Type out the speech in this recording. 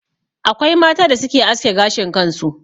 Akwai mata da suke aske gashin kansu.